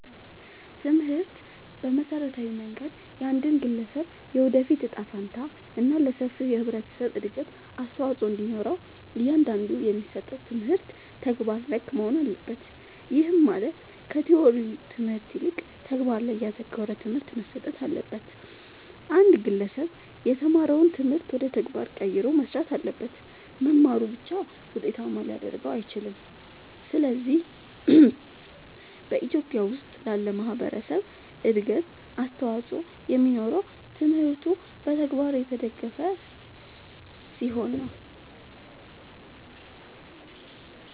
ትምህርት በመሠረታዊ መንገድ የአንድን ግለሠብ የወደፊት እጣ ፈንታ እና ለሠፊው የህብረተሠብ እድገት አስተዋፅኦ እንዲኖረው እያንዳንዱ የሚሠጠው ትምህርት ተግባር ነክ መሆን አለበት። ይህም ማለት ከቲወሪው ትምህርት ይልቅ ተግባር ላይ ያተኮረ ትምህርት መሠጠት አለበት። አንድ ግለሠብ የተማረውን ትምህርት ወደ ተግባር ቀይሮ መሥራት አለበት። መማሩ ብቻ ውጤታማ ሊያደርገው አይችልም። ስለዚህ በኢትዮጲያ ውስጥ ላለ ማህበረሠብ እድገት አስተዋፅኦ የሚኖረው ትምህርቱ በተግባር የተደገፈ ሲሆን ነው።